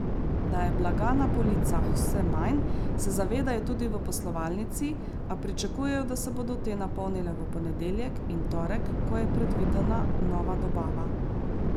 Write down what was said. Da je blaga na policah vse manj, se zavedajo tudi v poslovalnici, a pričakujejo, da se bodo te napolnile v ponedeljek in torek, ko je predvidena nova dobava.